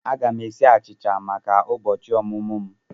Aga m esi achicha maka ụbọchị ọmụmụ m.